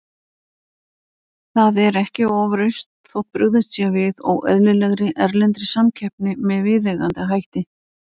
Það er ekki ofrausn þótt brugðist sé við óeðlilegri, erlendri samkeppni með viðeigandi hætti.